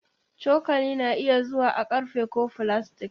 Cokali na iya zuwa a ƙarfe ko filastik.